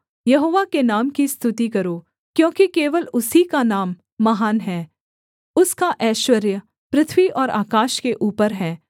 यहोवा के नाम की स्तुति करो क्योंकि केवल उसकी का नाम महान है उसका ऐश्वर्य पृथ्वी और आकाश के ऊपर है